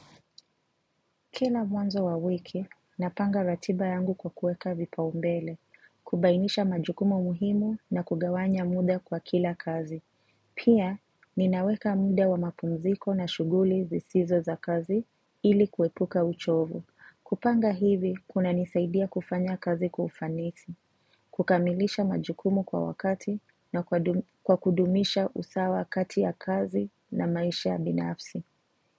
Kila mwanzo wa wiki, napanga ratiba yangu kwa kueka vipaumbele, kubainisha majukumu muhimu na kugawanya muda kwa kila kazi. Pia, ninaweka muda wa mapumziko na shuguli zisizo za kazi ili kuepuka uchovu. Kupanga hivi, kunanisaidia kufanya kazi kwa ufanisi, kukamilisha majukumu kwa wakati na kwa kudumisha usawa kati ya kazi na maisha ya binafsi.